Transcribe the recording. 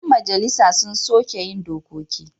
Ƴan majalisa su suke yin dokoki.